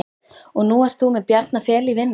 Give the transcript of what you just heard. Og nú ert þú með Bjarna Fel í vinnu?